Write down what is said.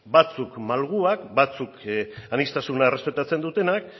batzuk malguak batzuk aniztasuna errespetatzen dutenak